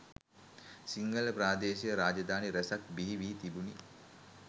සිංහල ප්‍රාදේශීය රාජධානි රැසක් බිහි වී තිබුණි.